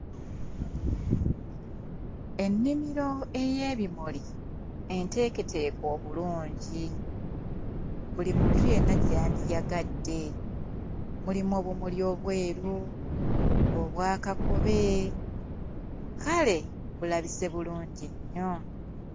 Ennimiro ey'ebimuli enteeketeeke obulungi, buli muntu yenna gye yandiyagadde. Mulimu obumuli obweru, obwa kakobe, kale bulabise bulungi nnyo!